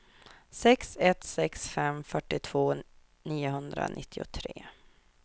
sex ett sex fem fyrtiotvå niohundranittiotre